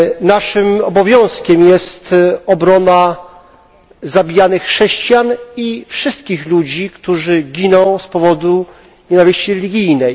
Naszym obowiązkiem jest obrona zabijanych chrześcijan i wszystkich ludzi, którzy giną z powodu nienawiści religijnej.